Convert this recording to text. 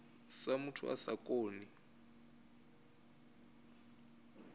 sa muthu a sa koni